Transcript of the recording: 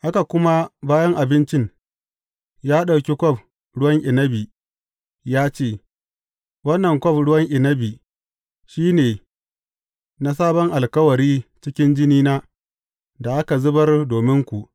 Haka kuma, bayan abincin, ya ɗauki kwaf ruwan inabi ya ce, Wannan kwaf ruwan inabi shi ne, na sabon alkawari cikin jinina, da aka zubar dominku.